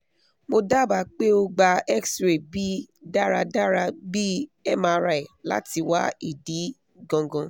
mo daba pe o gba xray bi daradara bi mri lati wa idi gangan